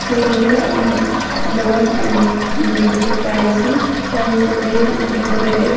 To read um alone and um with privacy here is a very decorative.